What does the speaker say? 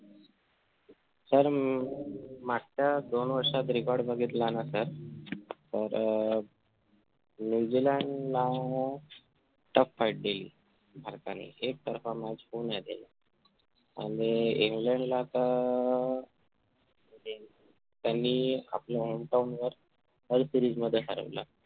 tough fight deal हि भारताला एक तर्फा match होऊ आणि इंग्लंडला तर अं त्यांनी आपल्या home town वर world series मध्ये हरवलं